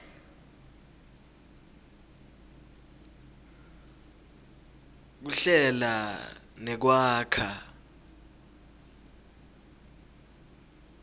kuhlela nekwakha